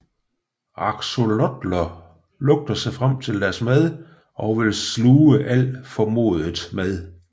Axolotler lugter sig frem til deres mad og vil sluge alt formodet mad